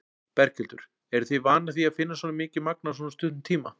Berghildur: Eruð þið vanar því að finna svona mikið magn á svona stuttum tíma?